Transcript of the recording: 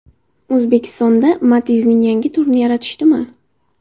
O‘zbekistonda Matiz’ning yangi turini yaratishdimi?